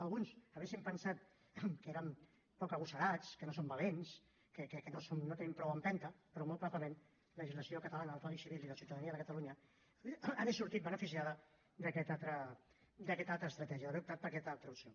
alguns haurien pensat que érem poc agosarats que no som valents que no tenim prou empenta però molt probablement la legislació catalana del codi civil i de ciutadania de catalunya hauria sortit beneficiada d’aquesta altra estratègia d’haver optat per aquesta altra opció